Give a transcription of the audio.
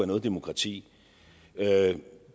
noget demokrati